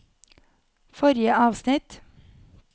forrige avsnitt